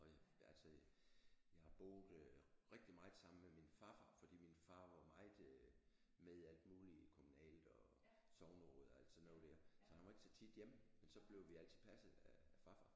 Og altså jeg har boet rigtig meget sammen med min farfar fordi min far var meget øh med i alt muligt kommunalt og sogneråd og alt sådan noget der så han var ikke så tit hjemme men så blev vi altid passet af farfar